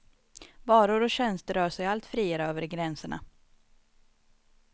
Varor och tjänster rör sig allt friare över gränserna.